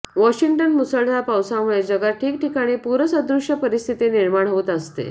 Washington मुसळधार पावसामुळे जगात ठिकठिकाणी पूरसदृश्य परिस्थिती निर्माण होत असते